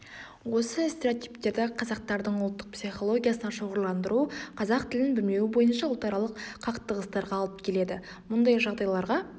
осы стереотиптерді қазақтардың ұлттық психологиясына шоғырландыру қазақ тілін білмеуі бойынша ұлтаралық қақтығыстарға алып келеді мұндай жағдайларға